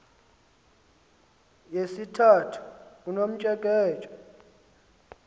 yesithathu unomtsheke tshe